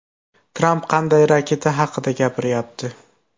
Tramp qanday raketa haqida gapiryapti?